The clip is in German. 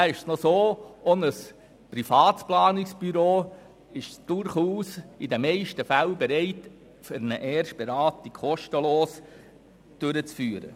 Auch ein Privatplanungsbüro ist durchaus in den meisten Fällen bereit, eine Erstberatung kostenlos durchzuführen.